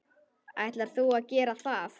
Ætlar þú að gera það?